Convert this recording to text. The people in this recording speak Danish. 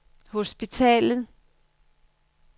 hospitalet